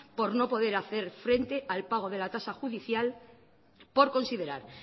por no poder hacer frente al pago de la tasa judicial por considerar